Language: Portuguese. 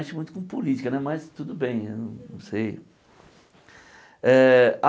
Mexe muito com política né, mas tudo bem, eu não sei eh.